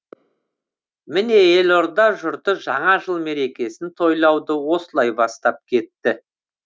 міне елорда жұрты жаңа жыл мерекесін тойлауды осылай бастап кетті